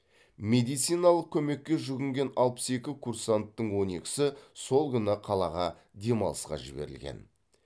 медициналық көмекке жүгінген алпыс екі курсанттың он екісі сол күні қалаға демалысқа жіберілген